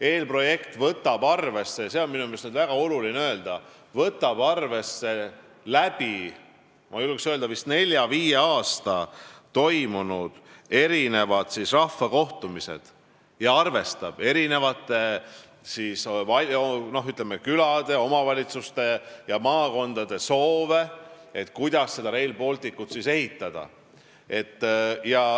Eelprojekt võtab arvesse – seda on minu meelest väga oluline öelda – läbi nelja või viie aasta toimunud rahvakohtumistel avaldatud erinevate, ütleme, külade, omavalitsuste ja maakondade soove, kuidas seda Rail Balticut tuleks ehitada.